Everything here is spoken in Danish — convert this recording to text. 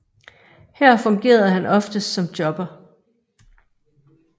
Her fungerede han oftest som jobber